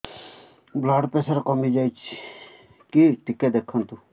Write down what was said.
blood pressure କମି ଯାଉଛି କି ଟିକେ ଦେଖନ୍ତୁ